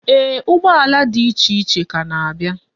Eeh, ụgbọala di iche iche ka na-abia.